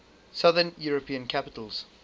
southern european capitals